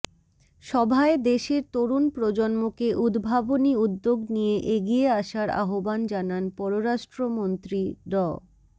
সভায় দেশের তরুণ প্রজন্মকে উদ্ভাবনী উদ্যোগ নিয়ে এগিয়ে আসার আহ্বান জানান পররাষ্ট্রমন্ত্রী ড